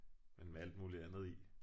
Men med alt muligt andet i